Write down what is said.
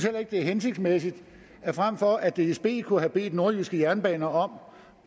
at det er hensigtsmæssigt frem for at dsb kunne have bedt nordjyske jernbaner om